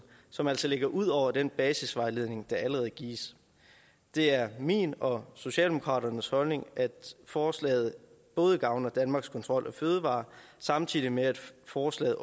som altså ligger ud over den basisvejledning der allerede gives det er min og socialdemokraternes holdning at forslaget gavner danmarks kontrol af fødevarer samtidig med at forslaget